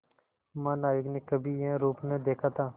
महानाविक ने कभी यह रूप न देखा था